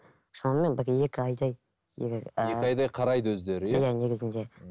шамамен бір екі айдай егер ііі екі айдай қарайды өздері иә иә негізінде